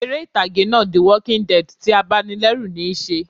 Eré ìtàgé náà "the walking dead" ti abanilẹ́rù níí se